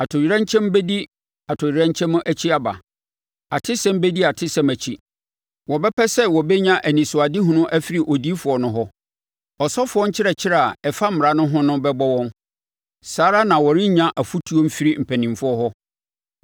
Atoyerɛnkyɛm bɛdi atoyerɛnkyɛm akyi aba; atesɛm bɛdi atesɛm akyi. Wɔbɛpɛ sɛ wɔbɛnya anisoadehunu afiri odiyifoɔ no hɔ, Ɔsɔfoɔ nkyerɛkyerɛ a ɛfa mmara no ho no bɛbɔ wɔn. Saa ara na wɔrennya afotuo mfiri mpanimfoɔ hɔ.